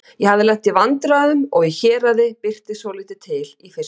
Ég hafði lent í vandræðum og í héraði birti svolítið til í fyrstu.